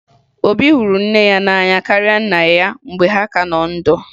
Obi hụrụ nne ya n'anya karịa nna ya mgbe ha ka nọ ndụ